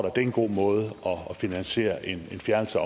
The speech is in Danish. at det er en god måde at finansiere en fjernelse